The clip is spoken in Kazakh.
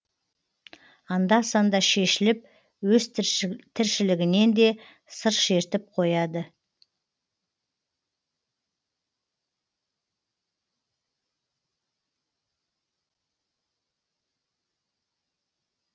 анда санда шешіліп өз тіршілігінен де сыр шертіп қояды